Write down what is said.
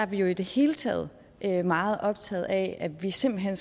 vi jo i det hele taget meget optaget af at vi simpelt hen